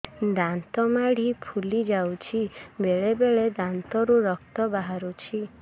ଦାନ୍ତ ମାଢ଼ି ଫୁଲି ଯାଉଛି ବେଳେବେଳେ ଦାନ୍ତରୁ ରକ୍ତ ବାହାରୁଛି